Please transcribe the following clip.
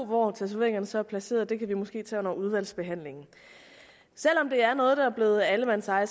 hvor tatoveringerne så er placeret kan vi måske tage under udvalgsbehandlingen selv om det er noget der er blevet allemandseje